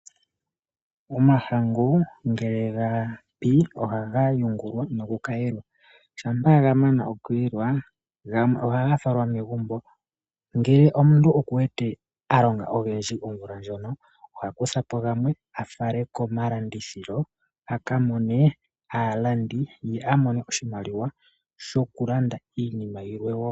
Omahangu ngele gapi ohaga yungulwa noku kayelwa shampa gamanwa okuyelwa gamwe ohaga falwa megumbo, ngele omuntu okuwete alonga ogendji omvula ndjono oha kuthapo gamwe afale komalandithilo akamone aalandi ye amone oshimaliwa sho kulanda iinima yilwe woo.